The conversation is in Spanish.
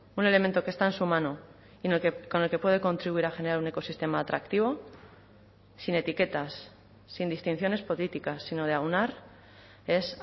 un elemento que está en su mano con el que puede contribuir a generar un ecosistema atractivo sin etiquetas sin distinciones políticas sino de aunar es